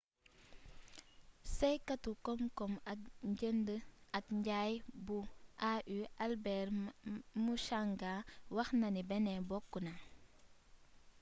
saytukatu komkom ak njënd ak njay bu au albert muchanga waxnani benin bokk na